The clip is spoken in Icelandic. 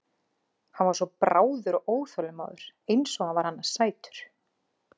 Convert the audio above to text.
Hann var svo bráður og óþolinmóður eins og hann var annars sætur.